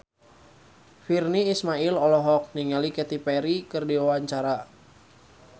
Virnie Ismail olohok ningali Katy Perry keur diwawancara